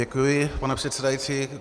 Děkuji, pane předsedající.